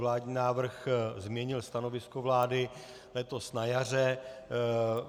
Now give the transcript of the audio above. Vládní návrh změnil stanovisko vlády letos na jaře.